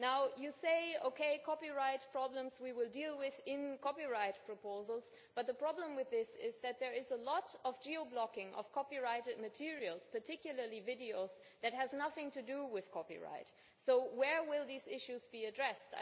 Now you say that we will deal with copyright problems in copyright proposals, but the problem with this is that there is a lot of geo blocking of copyrighted materials, particularly videos, that has nothing to do with copyright. So where will these issues be addressed?